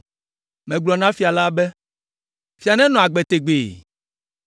Megblɔ na fia la be, “Fia nenɔ agbe tegbee.”